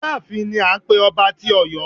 Aláàfin ni à ń pé ọba tí Ọ̀yọ́.